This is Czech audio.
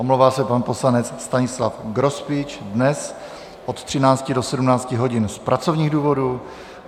Omlouvá se pan poslanec Stanislav Grospič dnes od 13 do 17 hodin z pracovních důvodů.